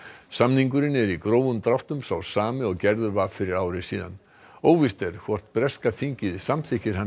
samningurinn er í grófum dráttum sá sami og gerður var fyrir ári síðan óvíst er hvort breska þingið samþykkir hann